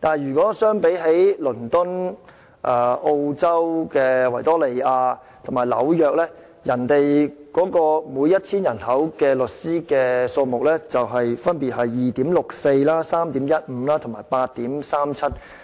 但如果與倫敦、澳洲維多利亞省和紐約相比，他們每 1,000 人的律師數目分別是 2.64、3.15 和 8.37。